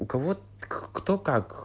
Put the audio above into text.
у кого кто как